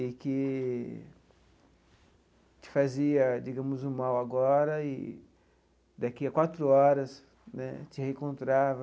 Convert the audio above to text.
E que te fazia, digamos, o mal agora e daqui a quatro horas né te reencontrava.